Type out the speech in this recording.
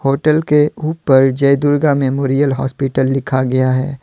Hotel के उपर Jai Durga memorial hospital लिखा गया है।